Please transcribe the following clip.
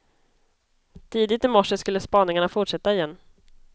Tidigt i morse skulle spaningarna fortsätta igen.